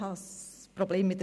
Diverse erhielten 2 Stimmen